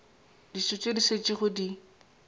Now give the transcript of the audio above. dijo tše di šetšego di